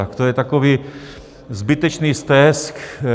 Tak to je takový zbytečný stesk.